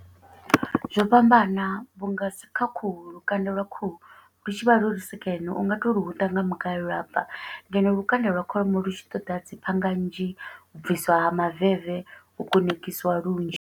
Zwo fhambana, vhunga kha khuhu lukanda lwa khuhu lu tshi vha lwu lu sekene, u nga to huṱa nga mugayo, lwa bva. Ngeno lukanda lwa kholomo lu tshi ṱoḓa dzi phanga nnzhi, u bvisiwa ha maveve, u kunakisiwa lunzhi.